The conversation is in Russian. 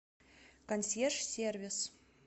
консьерж сервис